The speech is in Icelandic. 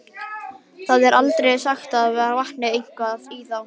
Það er aldrei sagt að það vanti eitthvað í þá.